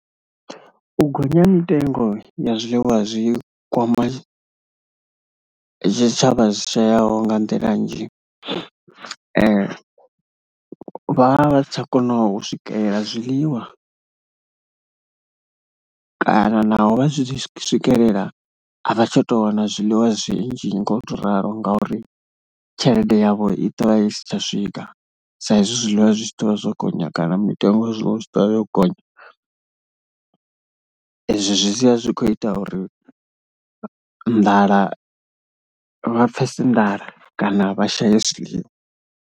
U gonya ha mitengo ya zwe wa zwi kwama tshitshavha zwo yaho nga nḓila nnzhi, vha vha si tsha kona u swikelela zwiḽiwa kana naho vha zwi tshi swikelela, a vha tsha tou wana zwiḽiwa zwinzhi ngo tou ralo ngauri tshelede yavho i ḓo vha i si tsha swika, saizwi zwiḽiwa zwi tshi ḓo vha zwo gonya kana mitengo ya zwiḽiwa i tshi ḓo vha yo gonya. Izwo zwi sia zwi khou ita uri nḓala, vha pfhesese nḓala kana vha shaye zwiḽiwa.